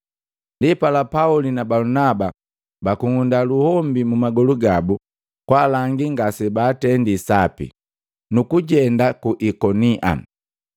Ndipala Pauli na Balunaba bakung'unda luhombi mumagolu gabu kwalangi ngasebaatendi sape, nukujenda ku Ikonia.